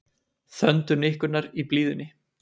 Þöndu nikkurnar í blíðunni